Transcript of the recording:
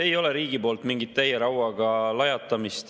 Ei ole riigi poolt mingit täie rauaga lajatamist.